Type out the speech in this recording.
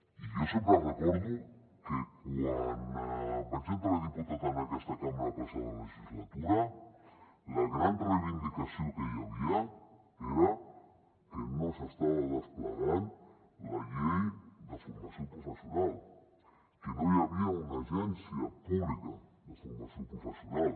i jo sempre recordo que quan vaig entrar de diputat en aquesta cambra la passada legislatura la gran reivindicació que hi havia era que no s’estava desplegant la llei de formació professional que no hi havia una agència pública de formació professional